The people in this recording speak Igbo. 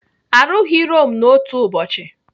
Arụghị Rome n'otu ụbọchị.